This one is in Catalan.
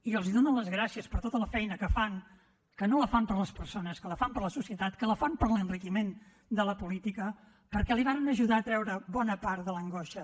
i els dono les gràcies per tota la feina que fan que no la fan per les persones que la fan per la societat que la fan per l’enriquiment de la política perquè el varen ajudar a treure’s bona part de l’angoixa